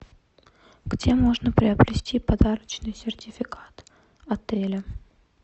где можно приобрести подарочный сертификат отеля